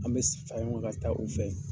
An be sigi ka taa u fɛ .